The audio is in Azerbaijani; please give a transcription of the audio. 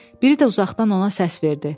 Biri də uzaqdan ona səs verdi.